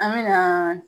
An me na